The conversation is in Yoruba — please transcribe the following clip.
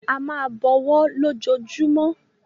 A máa bọwọ́ lójoojúmú.